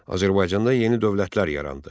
Azərbaycanda yeni dövlətlər yarandı.